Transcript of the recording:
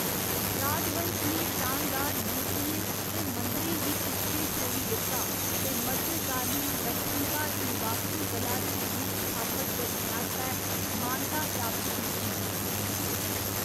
राजवंश ने शानदार मूर्तियें ते मंदरें गी पिच्छें छोड़ी दित्ता, ते मध्यकालीन दक्खन भारती वास्तुकला दी नींह् स्थापत करने आस्तै मानता प्राप्त कीती।